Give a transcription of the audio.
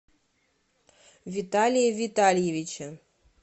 виталии витальевиче